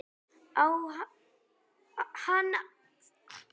Hann þekkir hann.